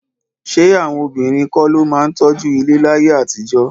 Ṣé àwọn obìnrin kọ́ ló máa ń tọ́jú ilé láyé àtijọ́?